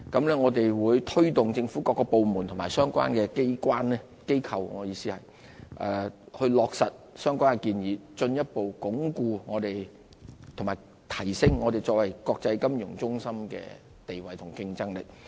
我們會推動政府各部門及相關機構落實相關建議，進一步鞏固和提升香港作為國際金融中心的地位和競爭力。